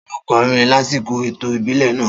Ta ló kọrin lásìkò ètò ìbílẹ̀ náà?